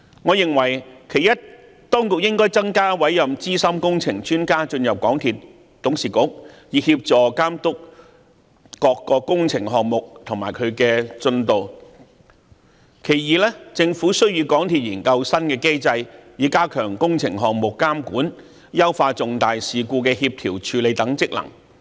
我認為其一，當局應增加委任資深工程專家進入港鐵公司董事局，以協助監督各個工程項目和進度；其二，政府需與港鐵公司研究新機制，以加強工程項目監管，優化重大事故的協調和處理等職能。